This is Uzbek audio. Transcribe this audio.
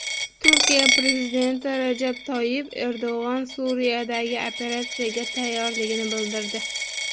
Turkiya prezidenti Rajab Toyyib Erdo‘g‘on Suriyadagi operatsiyaga tayyorligini bildirdi.